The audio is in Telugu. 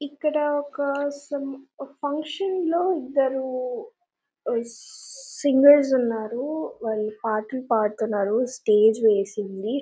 ఇక్కడ ఒక సోమ్ ఒక ఫంక్షన్ లో ఇద్దరు సింగెర్స్ ఉన్నారు వాళ్లు పాటలు పాడుతున్నారు స్టేజి వేసిఉంది.